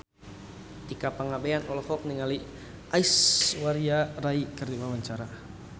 Tika Pangabean olohok ningali Aishwarya Rai keur diwawancara